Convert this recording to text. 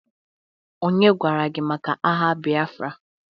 onye gwara gi maka agha Biafra?